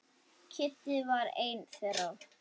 Kiddi var einn þeirra.